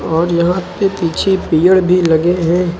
और यहां पे पीछे पेड़ भी लगे हैं।